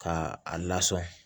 Ka a lasɔn